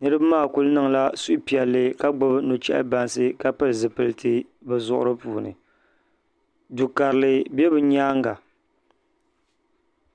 niraba maa ku niŋla suhupiɛlli ka gbubi nuchɛhi bansi ka pili zipiliti bi zuɣuri puuni du karili bɛ bi myaanga